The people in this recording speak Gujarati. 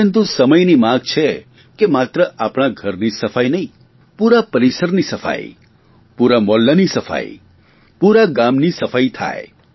પરંતુ સમયની માંગ છે કે માત્ર આપણા ઘરની જ સફાઇ નહીં પૂરા પરિસરની સફાઇ પૂરા મહોલ્લાની સફાઇ પૂરા ગામની સફાઇ થાય